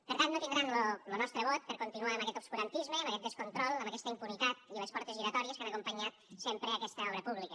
per tant no tindran lo nostre vot per continuar amb aquest obscurantisme amb aquest descontrol amb aquesta impunitat i les portes giratòries que han acompanyat sempre aquesta obra pública